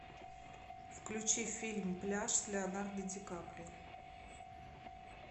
включи фильм пляж с леонардо ди каприо